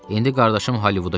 İndi qardaşım Holivuda köçüb.